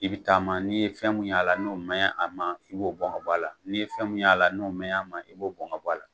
I bɛ taama n'i ye fɛn mun y'a la n'o man ɲi a ma i b'o bɔn k'o bɔ a la, n'i ye fɛn mun y'a la n'o man ɲi a ma i b'o bɔn k'o bɔ a la.